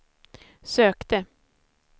sökte